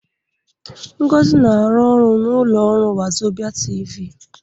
Ngozi na-arụ n'ụlọ ọrụ Wazobịa TV.